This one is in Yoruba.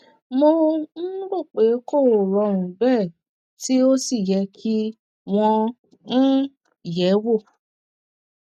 mo um rò pé kò rọrùn bẹẹ tí ó sì yẹ kí wọn um yẹ ẹ wò